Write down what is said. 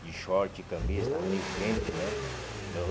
De short, camisa, estava meio quente, né?